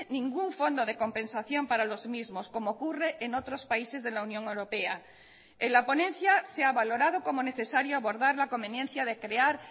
ningún fondo de compensación para los mismos como ocurre en otros países de la unión europea en la ponencia se ha valorado como necesario abordar la conveniencia de crear